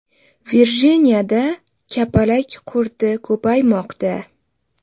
Virjiniyada kapalak qurti ko‘paymoqda.